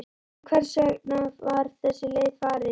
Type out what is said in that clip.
En hvers vegna var þessi leið farin?